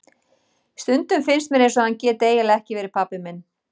Stundum finnst mér eins og hann geti eiginlega ekki verið pabbi minn.